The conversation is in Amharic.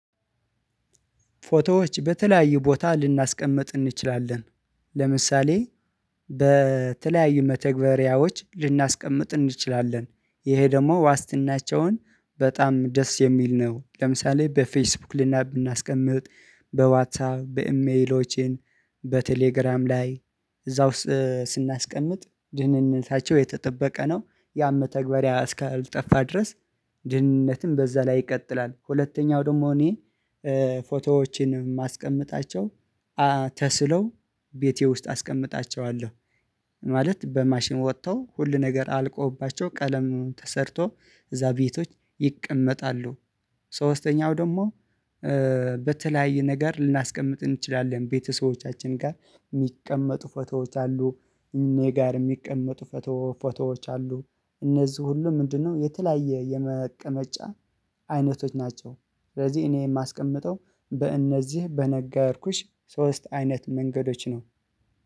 ፎቶዎች በተለያዩ ቦታ ልናስቀምጥ እንችላለን። ለምሳሌ በተለያዩ መተግበሪያዎች ልናስቀምጥ እንችላለን። ይሄ ደግሞ ዋስትናቸውን በጣም ደስ የሚል ነው። ለምሳሌ በፌስቡክ ልናስቀምጥ በዋትሳ በኢሜሎቼን በቴሌግራም ላይ እዛው ስናስቀምጥ ድህነታቸው የተጠበቀ ነው። ያ መተግበሪያ አስካልጠፋ ድረስ ድህነትም በዛ ላይ ይቀጥላል። ሁለተኛው ደግሞ እኔ ፎቶዎችን ማስቀመጣቸው ተስለው ቤቴ ውስጥ አስቀምጣቸዋለሁ ማለት በማሽን ወጥተው ሁል ነገር አልቆባቸው ቀለም ተሰርቶ እዛ ቤቶች ይቀመጣሉ። ሶስተኛው ደግሞ በተለያየ ነገር ልናስቀምጥ እንችላለን ቤተሰቦቻችን ጋር የሚቀመጡ ፎቶዎች አሉ እኔ ጋር የሚቀመጡ ፎቶ ፎቶዎች አሉ እነዚህ ሁሉ ምንድነው የተለያየ የመቀመጫ አይነቶች ናቸው? ስለዚህ እኔ የማስቀምጠው በእነዚህ በነገርኩሽ ሶስት አይነት መንገዶች ነው።